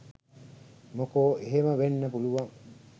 මොකෝ එහෙම වෙන්න පුළුවන්